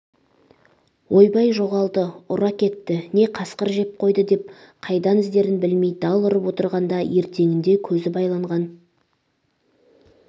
ойбай жоғалды ұры әкетті не қасқыр жеп қойды деп қайдан іздерін білмей дал ұрып отырғанда ертеңінде көзі байланған